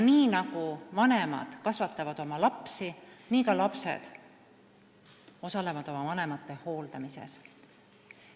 Nii nagu vanemad kasvatavad oma lapsi, nii ka lapsed osalevad oma vanemate hooldamises.